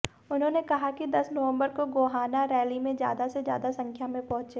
उन्होंने कहा कि दस नवंबर को गोहाना रैली में ज्यादा से ज्यादा संख्या में पहुंचे